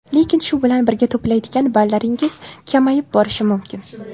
Lekin, shu bilan birga to‘playdigan ballaringiz kamayib borishi mumkin.